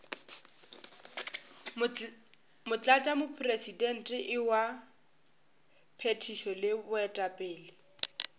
motlatšamopresidente wa phethišo le baetapele